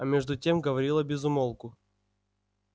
а между тем говорила без умолку